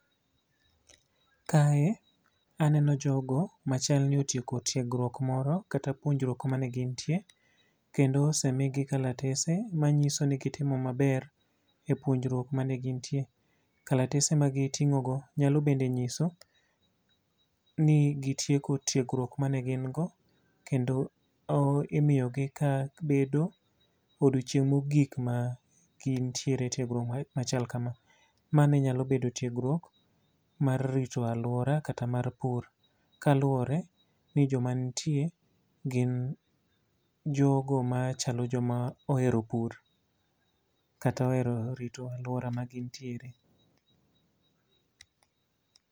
Kae aneno jogo machalni otieko tiegruok moro, kata puonjruok mane gintie. Kendo ose migi kalatese, manyiso ni gitimo maber, e puonjruok mane gintie. Kalatese ma gitingó go, nyalo bende nyiso, ni gitieko tiegruok mane gin go. Kendo imiyo gi ka bedo odiechieng' mogik ma gintiere tiegruok machal kama. Mane nyalo bedo tiegruok mar rito alwora, kata mar pur. Kaluwore ni joma nitie gin jogo machalo joma ohero pur kata ohero rito alwora ma gintiere.